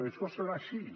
i això serà així